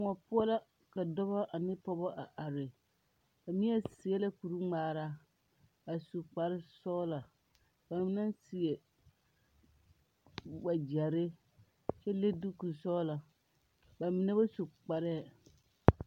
Kõɔ poɔ la ka dɔba ane pɔgeba a are neɛ seɛ la kuri ŋmaara a su kparre sɔgla m ba mine seɛ wagyɛre kyɛ le diiku sɔgla ba mine ba su kparre.